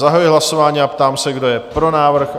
Zahajuji hlasování a ptám se, kdo je pro návrh?